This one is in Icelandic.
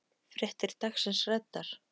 Fréttir dagsins ræddar.